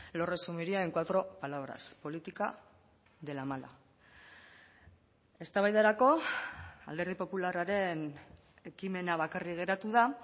lo resumiría en cuatro palabras política de la mala eztabaidarako alderdi popularraren ekimena bakarrik geratu da